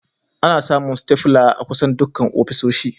Ana samun staples a kusan dukkan ofisoshi